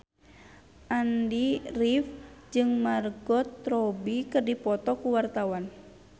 Andy rif jeung Margot Robbie keur dipoto ku wartawan